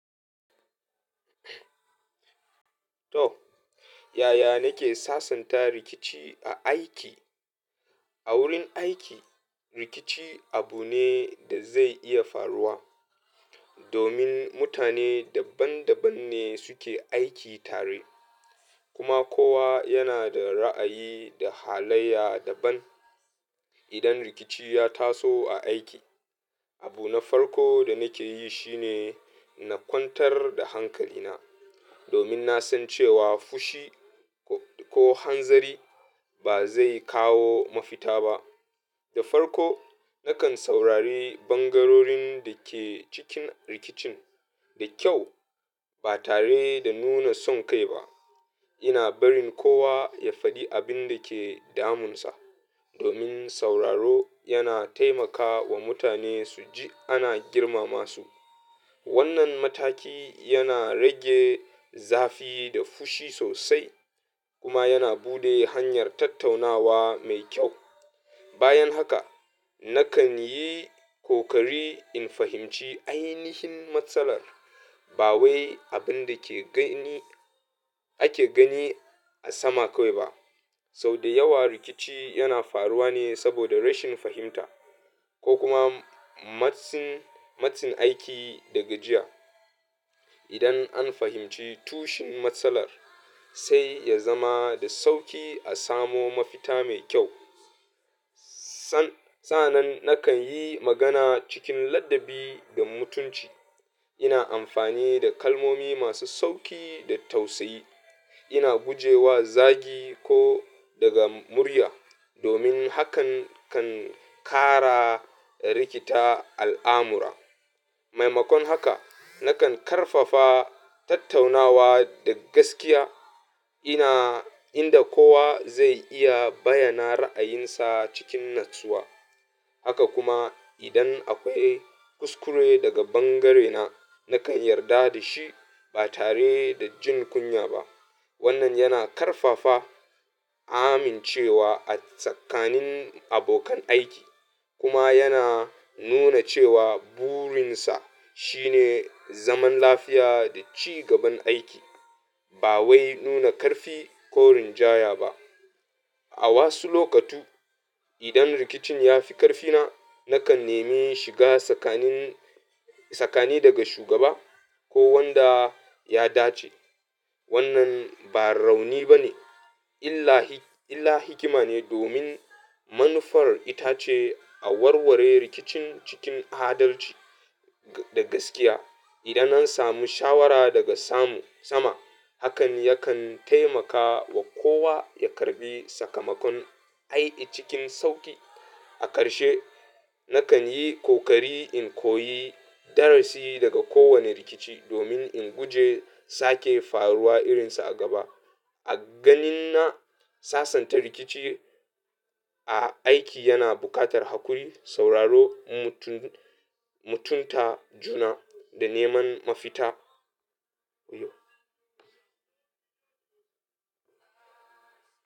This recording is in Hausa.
To, yaya nake sasanta rikici a aiki? A wurin aiki, rikici abu ne da zai iya faruwa, domin mutane daban-dabanne suke aiki tare kuma kowa yana da ra'ayi da halayya daban. Idan rikici ya taso a aiki, abu na farko da nake yi shine na kwantar da hankalina, domin na san cewa fushi ko hanzari ba zai kawo mafita ba. Da farko, nakan saurari bangarorin da ke cikin rikicin da kyau ba tare da nuna son kai ba. Ina barin kowa ya faɗi abin da ke damunsa, domin sauraro yana taimaka wa mutane su ji ana girmama su. Wannan mataki yana rage zafi da fushi sosai kuma yana buɗe hanyar tattaunawa mai kyau. Bayan haka, nakan yi kokari in fahimci ainihin matsalar ba wai abin da ake gani a sama kawai ba. Sau da yawa rikici yana faruwa ne saboda rashin fahimta ko kuma matsin aiki daga jiya. Idan an fahimci tushen matsalar, sai ya zama da sauƙi a samo mafita mai kyau. Sa'anan nakan yi magana cikin ladabi da mutunci. Ina amfani da kalmomi masu sauƙi da tausayi. Ina guje wa zagi ko daga murya, domin hakan kan ƙara rikita al'amura. Maimakon haka, nakan ƙarfafa tattaunawa da gaskiya inda kowa zai iya bayyana ra'ayinsa cikin natsuwa. Haka kuma, idan akwai kuskure daga bangarena, nakan yarda da shi ba tare da jin kunya ba. Wannan yana ƙarfafa amincewa a tsakanin abokan aiki kuma yana nuna cewa burinsa shine zaman lafiya da ci gaban aiki, ba wai nuna ƙarfi ko rinjaya ba. A wasu lokutu, idan rikicin ya fi ƙarfina, nakan nemi shiga tsakani daga shugaba ko wanda ya dace. Wannan ba rauni ba ne illa hikima ne, domin manufar ita ce a warware rikicin cikin adalci da gaskiya. Idan an samu shawara daga sama, hakan yakan taimaka wa kowa ya karɓi sakamakon aiƙi cikin sauƙi. A ƙarshe, nakan yi kokari in koyi darasi daga kowane rikici domin in guje sake faruwa irinsa a gaba. A ganina, sasanta rikici a aiki yana buƙatar hakuri, sauraro, mutunta juna, da neman mafita.